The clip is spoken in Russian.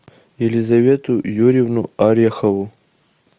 елизавету юрьевну орехову